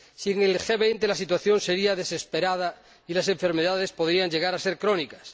Sin el G 20 la situación sería desesperada y las enfermedades podrían llegar a ser crónicas.